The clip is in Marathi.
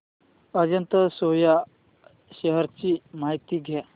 अजंता सोया शेअर्स ची माहिती द्या